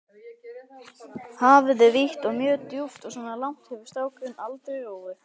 Hafið er vítt og mjög djúpt og svona langt hefur strákurinn aldrei róið.